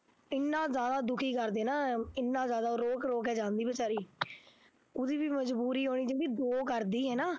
ਇੰਨਾ ਜ਼ਿਆਦਾ ਦੁੱਖੀ ਕਰਦੇ ਨਾ ਇੰਨਾ ਜ਼ਿਆਦਾ ਰੋ ਰੋ ਕੇ ਜਾਂਦੀ ਬੇਚਾਰੀ ਉਹਦੀ ਵੀ ਮਜ਼ਬੂਰੀ ਹੋਣੀ ਦੋ ਕਰਦੀ ਹਨਾ